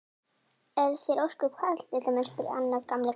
Er þér ósköp kalt litla mín? spurði annar gamli karlinn.